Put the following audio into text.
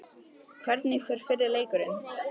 Hvernig fer fyrri leikurinn?